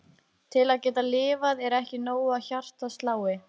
Til að geta lifað er ekki nóg að hjartað slái.